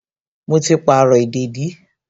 Mo ti pàrọ̀ ìdèdí